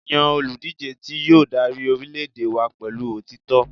Yan oludije ti yoo dari orilẹ-ede wa pẹlu otitọ